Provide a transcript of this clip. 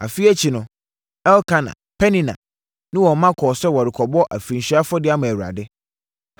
Afe akyi no, Elkana, Penina, ne wɔn mma kɔɔ sɛ wɔrekɔbɔ afirinhyia afɔdeɛ ama Awurade.